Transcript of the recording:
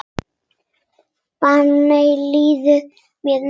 Þannig líður mér núna.